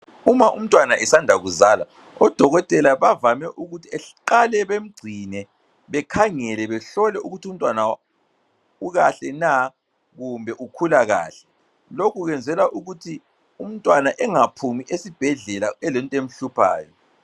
Uma umntwana esanda kuzala, odokotela bavame ukuthi beqale bemgcine. Bekhangele bahlole ukuthi umntwana ukahle na kumbe ukhula kahle. Lokhu kwenzela ukuthi umntwna engaphumi esibhedlela elento emhluphayo.